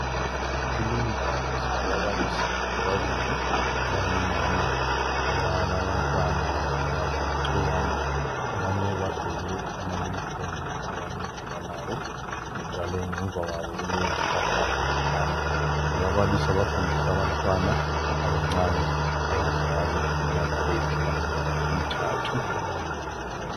Kulindawo silababalisi ababili abangomama, abalabantwana abalixukwana. Abanye bagqoke ama unifomu abanye kabalawo njalo ngemva kwabo kulezihlahla zebhanana. Ababalisi abafundisa abantwana abancane abangakabi leminyaka edlula iminyaka emithathu.